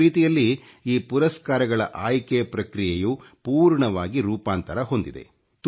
ಒಂದು ರೀತಿಯಲ್ಲಿ ಈ ಪುರಸ್ಕಾರಗಳ ಆಯ್ಕೆ ಪ್ರಕ್ರಿಯೆಯು ಪೂರ್ಣವಾಗಿ ರೂಪಾಂತರ ಹೊಂದಿದೆ